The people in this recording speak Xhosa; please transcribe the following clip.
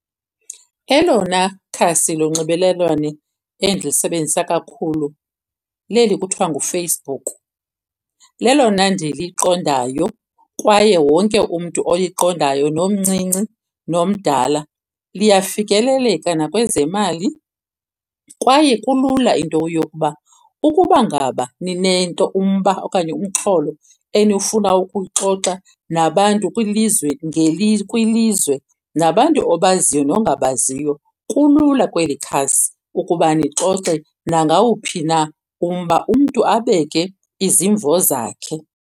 Elona khasi lonxibelelwane endilisebenzisa kakhulu leli kuthiwa nguFacebook. Lelona ndiliqondayo kwaye wonke umntu oliqondayo nomncinci nomdala. Liyafikeleleka nakwezemali kwaye kulula into yokuba ukuba ngaba ninento, umba, okanye umxholo eniwufuna ukuwuxoxa nabantu kwilizwe kwilizwe nabantu obaziyo nongabaziyo, kulula kweli khasi ukuba nixoxe nangawumphi na umba, umntu abeke izimvo zakhe.